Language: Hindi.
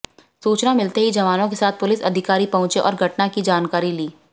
सूचना मिलते ही जवानों के साथ पुलिस अधिकारी पहुंचे और घटना की जानकारी ली